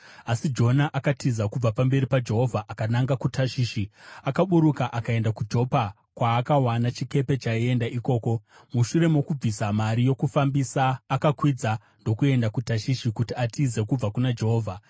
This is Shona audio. Asi Jona akatiza kubva pamberi paJehovha akananga kuTashishi. Akaburuka akaenda kuJopa, kwaakawana chikepe chaienda ikoko. Mushure mokubvisa mari yokufambisa, akakwidza ndokuenda kuTashishi kuti atize kubva kuna Jehovha.